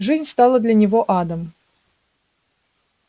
жизнь стала для него адом